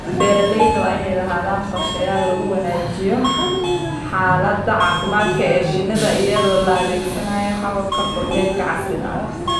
Beeralayda waa inay lahaadaan qorshayaal lagu wanaajinayo xaaladda caafimaad ee shinnida iyadoo la adeegsanayo hababka kormeerka casriga ah.